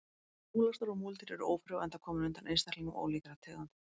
Bæði múlasnar og múldýr eru ófrjó enda komin undan einstaklingum ólíkra tegunda.